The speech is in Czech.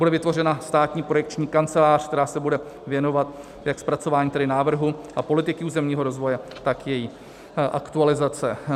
Bude vytvořena státní projekční kancelář, která se bude věnovat jak zpracování tedy návrhu a politik územního rozvoje, tak její aktualizace.